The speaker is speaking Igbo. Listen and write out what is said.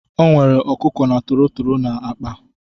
O nwere ọkụkọ na tọrọtọrọ ọ na-akpa.